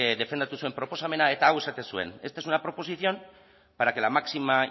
defendatu zuen proposamena eta hau esaten zuen esta es una proposición para que la máxima